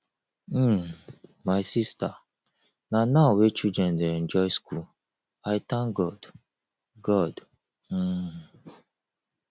um my sister na now wey children dey enjoy school i thank god god um